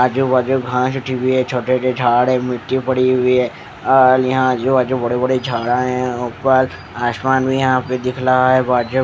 आजू बाजू घास हाटी हुई है छोटे से झाड़ है मिट्टी पड़ी हुई है ऑल यहाँ आजू बाजू बड़े बड़े झाड़ा है उपर आसमान भी यहाँ पर दिखला है बाजू --